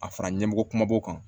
A fara ɲɛmɔgɔ kumaba b'o kan